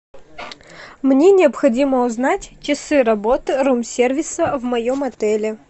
мне необходимо узнать часы работы рум сервиса в моем отеле